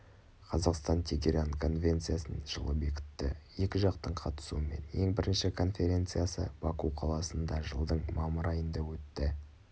қазақстан тегеран конвенциясын жылы бекітті екі жақтың қатысуымен ең бірінші конференциясы баку қаласында жылдың мамыр айында өтті